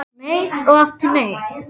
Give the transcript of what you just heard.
Nei og aftur nei.